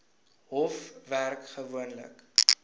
hof werk gewoonlik